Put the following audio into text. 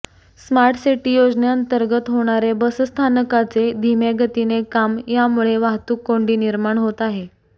smart city योजनेअंतर्गत होणारे बसस्थानकाचे धिम्यागतीने काम यामुळे वाहतुक कोंढी निर्माण होत आहे